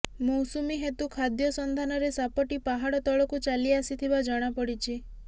ମୌସୁମି ହେତୁ ଖାଦ୍ୟ ସନ୍ଧାନରେ ସାପଟି ପାହାଡ ତଳକୁ ଚାଲିଆସିଥିବା ଜଣା ପଡିଛି